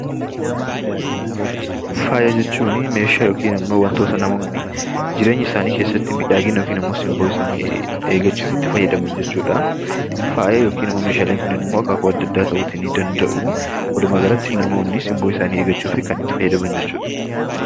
Faaya jechuun meeshaa yookin ammoo wantoota namoonni jireenya isaanii keessatti miidhagina yookaan ammoo simboo isaanii eeggachuuf itti fayyadaman jechuudha. Faaya yookin ammoo meeshaaleen kunneen akaakuu adda addaa ta'uu nidanda'u. Walumaagalatti namoonni simboo isaanii eeggachuuf kan itti fayyadaman jechuudha.